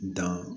Dan